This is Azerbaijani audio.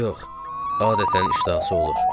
"Yox, adətən iştahası olur."